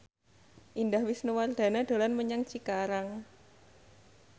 Indah Wisnuwardana dolan menyang Cikarang